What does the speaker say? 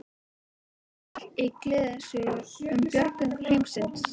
En ekkert raunatal í gleðisögu um björgun heimsins.